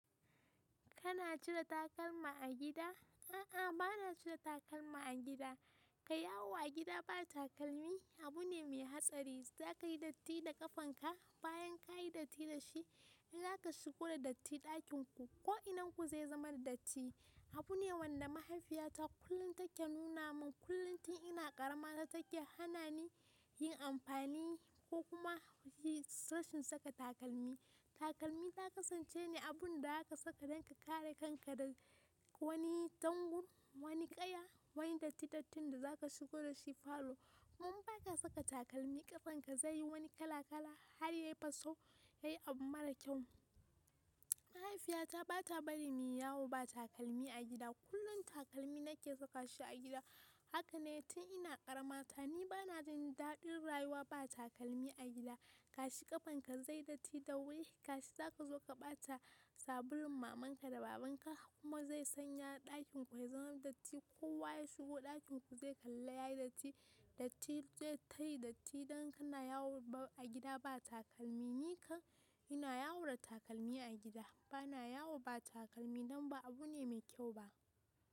Kana cire takalma a gida? A'a, bana cire takalma a gida. Kayi yawo a gida ba takalmi abu ne mai hatsari. Za ka yi datti da ƙafanka bayan ka yi datti da shi, in za ka shigo da datti ɗakin ku, ko inanku zai zama da datti. Abu ne wanda mahaifiyata kullum take nuna min. Kullum tin ina ƙarama ta take hana ni yin amfani ko kuma rashin saka takalmi. Takalmi ta kasance ne abun da za ka saka don ka kare kanka daga wani dangun, wani ƙaya, wani dattitattun da za ka shigo da shi falo. Kuma ba ka saka takalmi ƙafan ka zai yi wani kala kala har ya yi faso, ya yi abu mara kyau. Mahaifiyata ba ta bari mu yawo ba takalmi a gida. Kullum takalmi na ke saka shi a gida. Haka ne tin ina ƙarama ta. Ni bana jin daɗin rayuwa ba takalmi a gida. Kashi ƙafanka zai datti da wuri, kashi za ka zo ka ɓata sabulun mamanka da babanka kuma zai sanya ɗakin ku ya zama datti. Kowa ya shigo ɗakin ku zai kalla ya yi datti. Datti zai tafi datti idan kana yawo a gida ba takalmi. Ni kan ina yawo da takalmi a gida. Ba na yawo ba takalmi dan ba abu ne mai kyau ba.